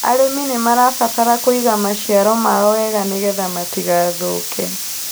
Arĩmi nĩmarabatara kũiga maciaro mao wega nĩgetha matigathũke